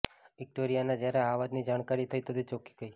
વિક્યોરિયાને જ્યારે આ વાતની જાણકારી થઈ તો તે ચોંકી ગઈ